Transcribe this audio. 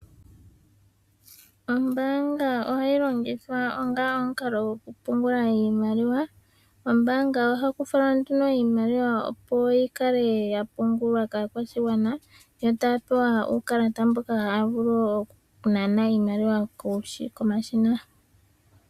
Ombaanga ohayi longithwa onga omukalo gokupungula iimaliwa. Ombaanga ohaku falwa nduno iimaliwa opo yikale yapungulwa kaakwashigwana e taya pewa uukalata mboka haya vulu oku nana iimaliwa komashina.